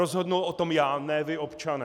Rozhodnu o tom já, ne vy, občané.